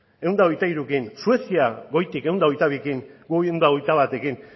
ehun eta hogeita hirurekin suezia goitik ehun eta hogeita bi gu ehun eta hogeita batekin